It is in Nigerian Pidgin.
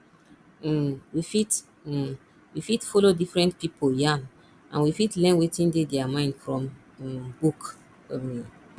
um we fit um we fit follow different pipo yarn and we fit learn wetin dey their mind from um book um